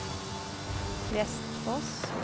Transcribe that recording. Prestfoss